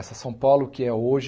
Essa São Paulo que é hoje,